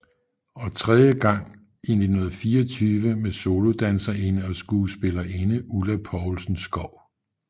Og tredje gang i 1924 med solodanserinde og skuespillerinde Ulla Poulsen Skou